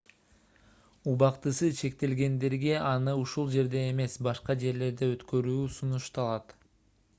убактысы чектелгендерге аны ушул жерде эмес башка жерлерде өткөрүү сунушталат